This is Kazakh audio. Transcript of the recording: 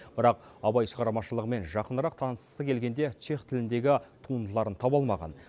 бірақ абай шығармашылығымен жақынырақ танысқысы келгенде чех тіліндегі туындыларын таба алмаған